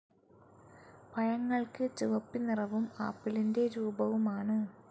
പഴങ്ങൾക്ക് ചുവപ്പ് നിറവും ആപ്പിളിൻ്റെ രൂപവുമാണ്.